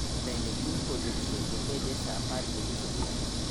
Bende kiny podho chieng' nobedie sa apar gi nus odhiambo